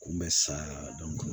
Kun bɛ sa